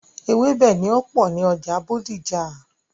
Ewébẹ̀ ni ó pọ̀ ní ọjà Bódìjà.